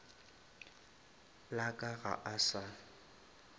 la ka ga a sa